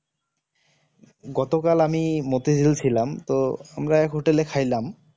গতকাল আমি মতিঝিল ছিলাম তো আমরা এক hotel এ খাইলাম